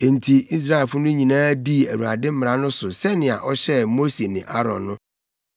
Enti Israelfo no nyinaa dii Awurade mmara no so sɛnea ɔhyɛɛ Mose ne Aaron no.